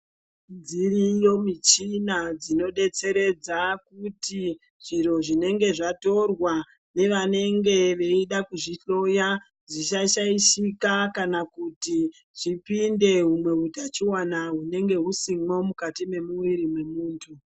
Dziriyo michina dzinobetseredza kuti zviro zvinonga zvatorwa nevanenge veida kuzvihloya zvisashaishika kana zvipinde humwe utachiwana hunonga husimo mukati memumwiri memuntu .